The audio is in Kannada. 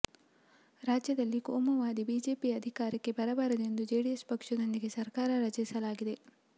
ರಾಜ್ಯದಲ್ಲಿ ಕೋಮುವಾದಿ ಬಿಜೆಪಿ ಅಧಿ ಕಾರಕ್ಕೆ ಬರಬಾರದೆಂದು ಜೆಡಿಎಸ್ ಪಕ್ಷದೊಂದಿಗೆ ಸರ್ಕಾರ ರಚಿಸಲಾಗಿದೆ